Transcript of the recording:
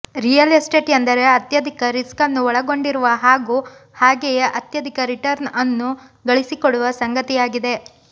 real estate ಎಂದರೆ ಅತ್ಯಧಿಕ risk ಅನ್ನು ಒಳಗೊಂಡಿರುವ ಹಾಗೂ ಹಾಗೆಯೇ ಅತ್ಯಧಿಕ ರಿರ್ಟನ್ಅನ್ನು ಗಳಿಸಿಕೊಡುವ ಸಂಗತಿಯಾಗಿದೆ